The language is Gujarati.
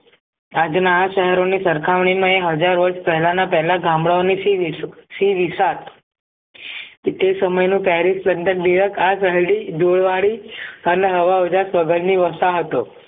આજના આ શહેરોની સરખામણીમાં એ હજાર વર્ષ પહેલાંના પહેલા ગામડાની શી શી વિશાલ તે સમય નું જોડવાળી અને હવા ઉજાસ વગર ની હતો